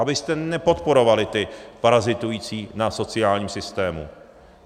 Abyste nepodporovali ty parazitující na sociálním systému.